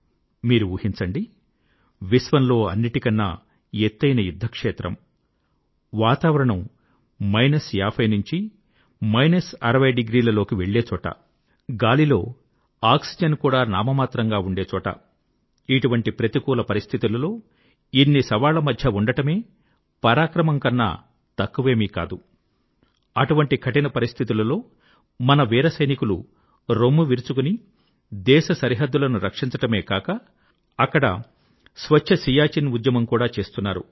మీరు ఊహించండి విశ్వంలో అన్నిటికన్నా ఎత్తైన యుద్ధ క్షేత్రం వాతావరణం మైనస్ 5060 డిగ్రీల లోకి వెళ్ళేచోట గాలిలో ఆక్సిజన్ కూడా నామమాత్రంగా ఉండేచోట ఇటువంటి ప్రతికూల పరిస్థితులలో ఇన్ని సవాళ్ళమధ్య ఉండడం పరాక్రమం కన్నా తక్కువేమీ కాదు అటువంటి కఠిన పరిస్థితులలో మన వీర సైనికులు రొమ్ము విరుచుకొని దేశ సరిహద్దులను రక్షించడమే కాక అక్కడ స్వచ్ఛ సియాచిన్ ఉద్యమం కూడా చేస్తున్నారు